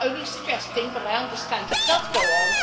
I am only suggesting, but I understand it does go on.